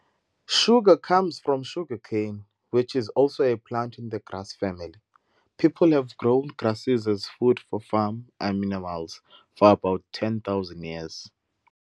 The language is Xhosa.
Sugar comes from sugar cane, which is also a plant in the grass family. People have grown grasses as food for farm animals for about 10,000 years.